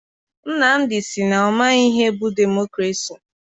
Nnamdị sị na ọ maghị ihe bụ demokrasi.